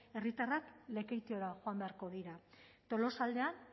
herritarrak lekeitiora joan beharko dira tolosaldean